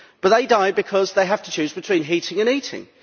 They die because they have to choose between heating and eating.